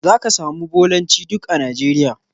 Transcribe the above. Za ka samu Bolancj duk a Nigeria.